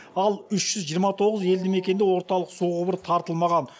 ал үш жүз жиырма тоғыз елдімекенде орталық су құбыры тартылмаған